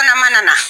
Kɔnɔ mana na